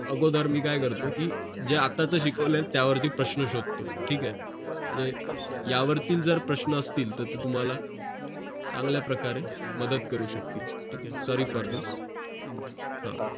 अगोदर मी काय करतो कि जे आत्ता च शिकवलेत यावरती प्रश्न शोधतो ठीक आहे म्हणजे यावरती जर प्रश्न असतील तर तुम्हाला चांगल्या प्रकारे मदत करू शकतील ठीक आहे sorry for this हां